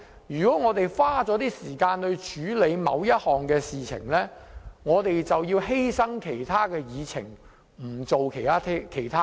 如果我們花時間處理某項事情，便要犧牲其他議程項目。